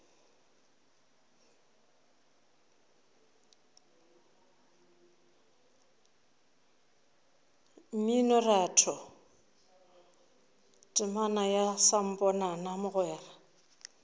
mminoratho temana ya samponana mogwera